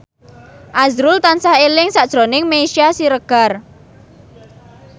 azrul tansah eling sakjroning Meisya Siregar